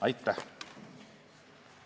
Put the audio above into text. Aitäh!